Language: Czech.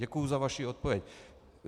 Děkuju za vaši odpověď.